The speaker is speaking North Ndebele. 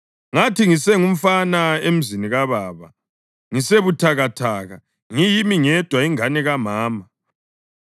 Ngathi ngisengumfana emzini kababa, ngisebuthakathaka, ngiyimi ngedwa ingane kamama,